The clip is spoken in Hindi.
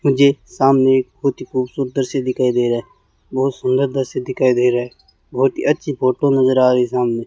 मुझे सामने एक बहुत ही खूबसूरत दृश्य दिखाई दे रहा है बहुत सुंदर दृश्य दिखाई दे रहा है बहुत ही अच्छी फोटो नज़र आ रही है सामने।